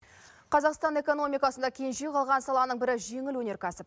қазақстан экономикасында кенже қалған саланың бірі жеңіл өнеркәсіп